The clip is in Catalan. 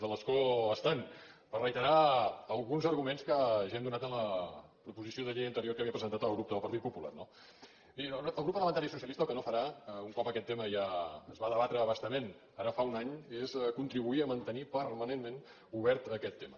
de l’escó estant per reiterar alguns arguments que ja hem donat en la proposició de llei anterior que havia presentat el grup del partit popular no miri el grup parlamentari socialista el que no farà un cop aquest tema ja es va debatre a bastament ara fa un any és contribuir a mantenir permanentment obert aquest tema